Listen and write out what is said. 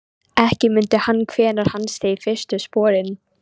Ekki mundi hann hvenær hann steig fyrstu sporin.